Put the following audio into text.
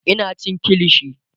Ina cin kilishi